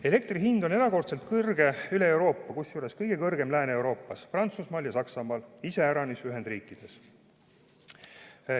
Elektri hind on erakordselt kõrge üle Euroopa, kusjuures kõige kõrgem Lääne-Euroopas, Prantsusmaal ja Saksamaal, iseäranis aga Ühendriikides.